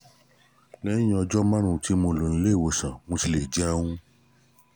lẹ́yìn ọjọ́ márùn-ún tí mo lò nílé ìwòsàn mo ti lè jẹun